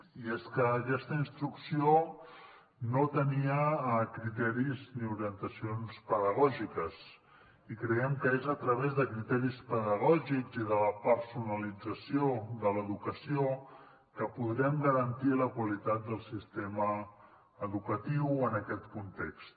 i és que aquesta instrucció no tenia criteris ni orientacions pedagògiques i creiem que és a través de criteris pedagògics i de la personalització de l’educació que podrem garantir la qualitat del sistema educatiu en aquest context